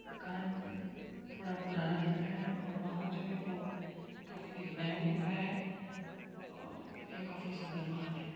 मकान थोड़ा पुराना दिख रहा है और वाहन जो है वो काफी नया दिख रहा है और ये काफी सुंदर वाहन है।